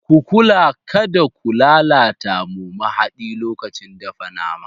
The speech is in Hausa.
Ku kula kada ku lalata mu mahadi lokacin dafa nama.